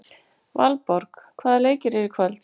Valborg, hvaða leikir eru í kvöld?